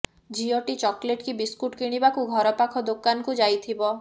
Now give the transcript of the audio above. ଝିଅଟି ଚକୋଲେଟ କି ବିସ୍କୁଟ କିଣିବାକୁ ଘରପାଖ ଦୋକାନକୁ ଯାଇଥିବ